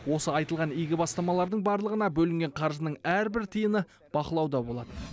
осы айтылған игі бастамалардың барлығына бөлінген қаржының әрбір тиыны бақылауда болады